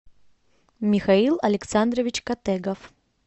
михаил александрович категов